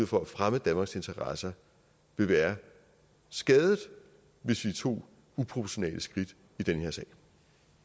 for at fremme danmarks interesser vil være skadet hvis vi tog uproportionale skridt